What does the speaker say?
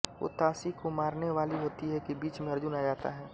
वो ताशी को मारने वाली होती है कि बीच में अर्जुन आ जाता है